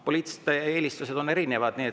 Poliitilised eelistused on erinevad.